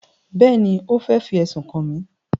Bẹ́ẹ̀ni, ó fẹ́ fi ẹ̀sùn kàn mí